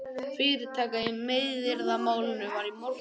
Fyrirtaka í meiðyrðamálinu var í morgun